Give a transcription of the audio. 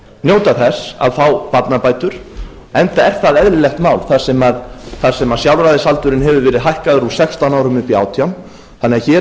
njóta þess að fá barnabætur enda er það eðlilegt mál þar sem sjálfræðisaldurinn hefur verið hækkaður úr sextán árum upp í átján þannig að hér er